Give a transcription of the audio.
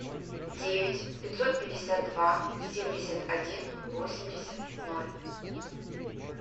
девять пятьсот пятьдесят два семьдесят один восемьдесят ноль